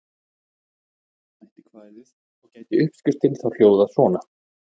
Umorða mætti kvæðið og gæti uppskriftin þá hljóðað svona: